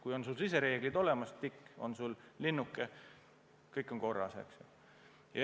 Kui sul on sisereeglid olemas, kui selles lahtris on linnuke, siis on kõik justkui korras.